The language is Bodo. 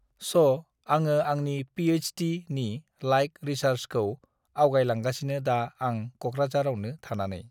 स' (so) आङो uhh आंनि फि हॆच्डि डि (PHD) नि uhh लायक (like) uhh रिसार्स (research) खौ uhh आवगायलांगासिनो दा आं क'क्राझार आवनो थानानै।